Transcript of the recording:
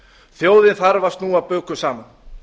þjóðin þarf að snúa bökum saman